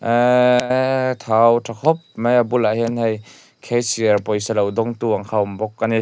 eeeeee thau tha khawp mai a bulah hian hei cashier pawisa lo dawngtu ang kha a awm bawk a ni.